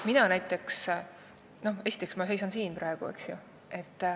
Mina näiteks seisan praegu siin, eks ju.